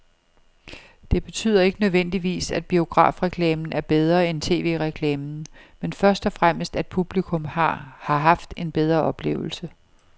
Det betyder ikke nødvendigvis, at biografreklamen er bedre end tv-reklamen, men først og fremmest at publikum har haft en bedre oplevelse.